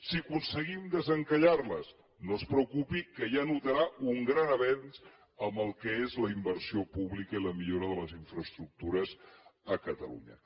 si aconseguim desencallar les no es preocupi que ja notarà un gran avenç amb el que és la inversió pública i la millora de les infraestructures a catalunya